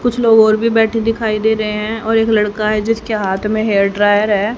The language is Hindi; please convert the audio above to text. कुछ लोग और भी बैठे दिखाई दे रहे हैं और एक लड़का है जिसके हाथ में हेयर ड्रायर है।